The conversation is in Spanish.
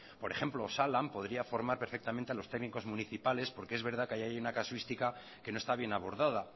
por ejemplo osalan podría formar perfectamente a los técnicos municipales porque es verdad que ahí hay una casuística que no está bien abordada